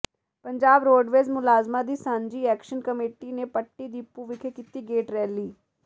Punjab roadways ਮੁਲਾਜ਼ਮਾਂ ਦੀ ਸਾਂਝੀ ਐਕਸ਼ਨ ਕਮੇਟੀ ਨੇ ਪੱਟੀ ਡਿਪੂ ਵਿਖੇ ਕੀਤੀ ਗੇਟ ਰੈਲੀ